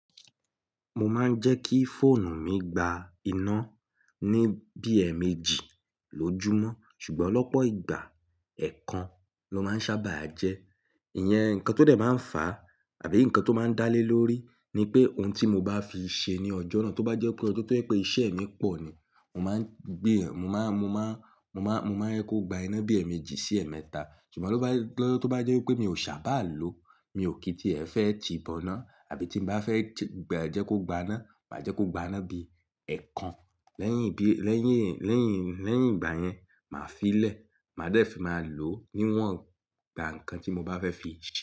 Mo máa ń jẹ́ kí fóònù mi gba iná ní bi èèmejì lójoojúmọ́, ṣùgbọ́n lọ̀pọ̀ ìgbà ẹ̀ẹ̀kan ló máa ń sábà jẹ́. Ìyẹn nǹkan tó dẹ̀ máa ń fà á àbí nǹkan tó máa ń dálé lórí ni pé ohun tí mo bá fi ṣe ní ọjọ́ náà, tó bá jẹ́ pé ọjọ́ tó pé iṣẹ́ mi pọ̀ ni, mo máa ń gbé, mo máa, mo máa, mo máa, mo máa n jẹ́ kó gba iná bi èèmejì sí ẹ̀ẹ̀mẹ́ta. Ṣùgbọ́n tó bá jé pe, tó bá jẹ́ pé mi ò sábà lo, mi ò kí i tí ẹ̀ fẹ́ ti boná àbí tí bá fẹ́ ti gba jẹ́ kó gba iná, màá jẹ́ kó gba iná bí i ẹ̀ẹ̀kan. Lẹ́yìn bí i, lẹ́yìn, lẹ́yìn, lẹ́yìn ìgbà yẹn, màá fi í lẹ̀, màá dẹ̀ fi máa lò ó níwọ̀n ìgbà nǹkan tí mo bá fẹ́ fi ṣe.